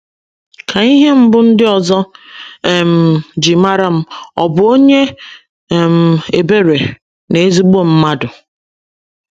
Ka ihe mbụ ndị ọzọ um ji mara m ọ̀ bụ onye um ebere na ezigbo mmadụ? ’